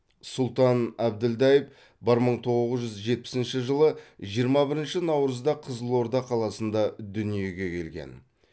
сұлтан әбділдаев бір мың тоғыз жүз жетпісінші жылы жиырма бірінші наурызда қызылорда қаласында дүниеге келген